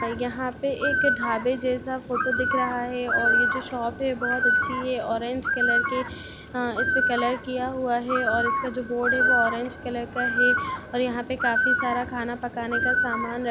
यहाँ पे एक ढाबा जैसा फोटो दिख रहा है और ये जो शॉप है बहुत अच्छी है ऑरेंज कलर के इसपे कलर किया हुआ है और जो इसका बोर्ड है ऑरेंज कलर का है और यहाँ पे काफी सारा खाना पकाने का समान रखा --